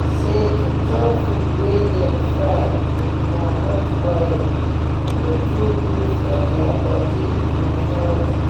say to chop food wey dem fry with groundut oil no too good for deir body and healthy.